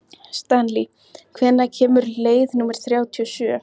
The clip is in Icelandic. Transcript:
Stanley, hvenær kemur leið númer þrjátíu og sjö?